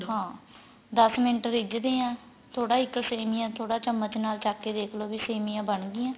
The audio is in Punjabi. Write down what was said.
ਹਾਂ ਦੱਸ ਮਿੰਟ ਰਿਜਦੀਏ ਥੋੜਾ ਇੱਕ ਸੇਮੀਆਂ ਥੋੜਾ ਚਮਚ ਨਾਲ ਚੱਕ ਕੇ ਦੇਖ ਲੋ ਵੀ ਸੇਮੀਆਂ ਬਣ ਗਿਆਂ